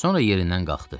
Sonra yerindən qalxdı.